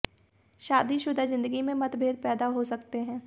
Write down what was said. शादी शुदा जिंदगी में मतभेद पैदा हो सकते हैं